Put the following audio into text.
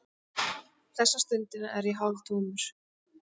Þessa stundina er ég hálftómur.